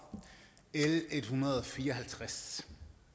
l 154